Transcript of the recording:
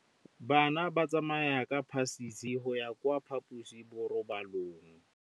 Bana ba tsamaya ka phašitshe go ya kwa phaposiborobalong.